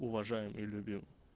уважаем и любим